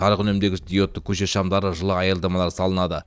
жарық үнемдегіш диодты көше шамдары жылы аялдамалар салынады